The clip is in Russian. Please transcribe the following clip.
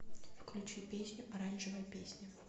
включи песню оранжевая песня